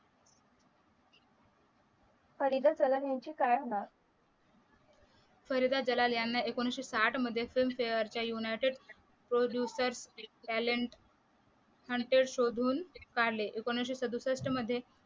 फरीदा यांचे काय होणार फरीदा जलाल यांना एकोणीशे साठ मध्ये फिल्मफेरेच्या युनायटेड प्रोड्युसर टॅलेंट हंटेड शोधून एकोणीशे सदुसष्ट मध्ये